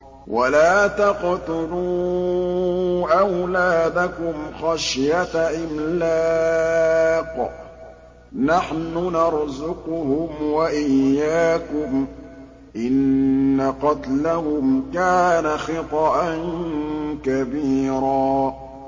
وَلَا تَقْتُلُوا أَوْلَادَكُمْ خَشْيَةَ إِمْلَاقٍ ۖ نَّحْنُ نَرْزُقُهُمْ وَإِيَّاكُمْ ۚ إِنَّ قَتْلَهُمْ كَانَ خِطْئًا كَبِيرًا